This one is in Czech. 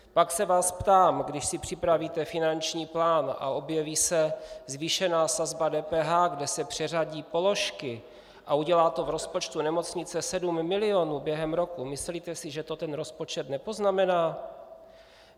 Pak se vás ptám: Když si připravíte finanční plán a objeví se zvýšená sazba DPH, kde se přeřadí položky a udělá to v rozpočtu nemocnice 7 miliónů během roku, myslíte si, že to ten rozpočet nepoznamená?